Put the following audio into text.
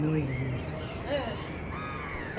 Não existe. Hã